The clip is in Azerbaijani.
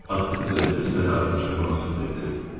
Axı siz özünüz mənə aydınlaşdırmağa söz vermişdiniz.